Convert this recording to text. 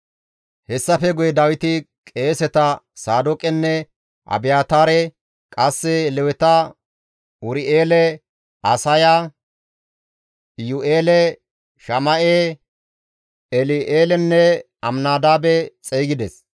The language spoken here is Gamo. Hessafe guye Dawiti qeeseta Saadooqenne Abiyaataare, qasse Leweta Ur7eele, Asaaya, Iyu7eele, Shama7e, El7eelenne Aminadaabe xeygides.